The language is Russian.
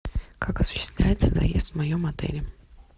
как осуществляется заезд в моем отеле